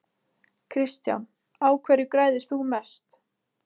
Kristján: Á hverju græðir þú mest?